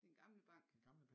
Den gamle bank